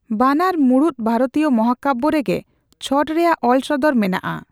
ᱵᱟᱱᱟᱨ ᱢᱩᱬᱩᱛ ᱵᱷᱟᱨᱚᱛᱤᱭᱚ ᱢᱟᱦᱟᱠᱟᱵᱵᱭᱚ ᱨᱮᱜᱮ ᱪᱷᱚᱴ ᱨᱮᱭᱟᱜ ᱚᱞ ᱥᱚᱫᱚᱨ ᱢᱮᱱᱟᱜᱼᱟ᱾